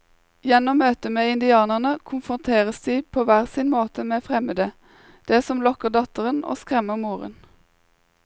Gjennom møtet med indianerne konfronteres de på hver sin måte med det fremmede, det som lokker datteren og skremmer moren.